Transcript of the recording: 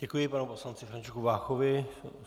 Děkuji panu poslanci Františku Váchovi.